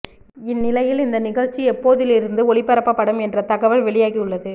இந்நிலையில் இந்த நிகழ்ச்சி எப்போதிலிருந்து ஒளிபரப்பபடும் என்ற தகவல் வெளியாகி உள்ளது